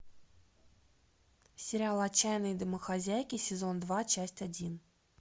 сериал отчаянные домохозяйки сезон два часть один